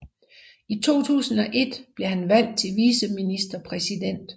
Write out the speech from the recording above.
I 2001 blev han valgt til viceministerpræsident